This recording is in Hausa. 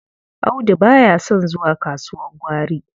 Audu ba ya son zuwa kasuwar gwari.